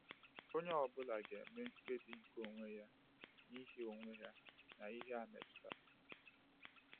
Onye ọ bụla ga-eme mkpebi nke onwe ya n’ihe onwe ya n’ihe a metụtara.